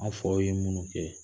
An faw ye munnu kɛ